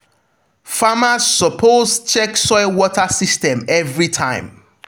farmers supposed check soil water system every time.